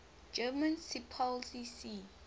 german seepolizei sea